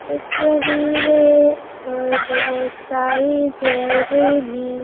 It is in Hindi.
दिख रही है और बहुत सारी ज्वेलरी भी--